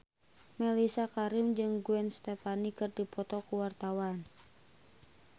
Mellisa Karim jeung Gwen Stefani keur dipoto ku wartawan